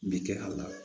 Bɛ kɛ a la